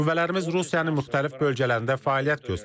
Qüvvələrimiz Rusiyanın müxtəlif bölgələrində fəaliyyət göstərib.